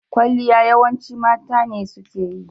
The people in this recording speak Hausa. Ƙwalliya yawanci mata ne suke yi